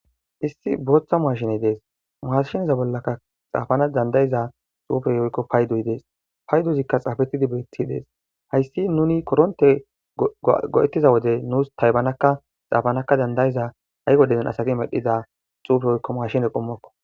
Issi booththa maaashiney dees maashiniza bollaka xaafana dandayiza xuufey oykko paydoyi dees payduzikka xaafettidi beeti dees hayssi nuni koronte go'ettiza wodey nuus taybanakka xaafanaka dandayiza hayqo dezen asagi medhiza xuufe oykko maashine qommokko.